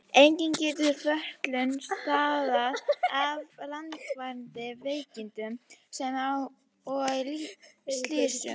Einnig getur fötlun stafað af langvarandi veikindum sem og slysum.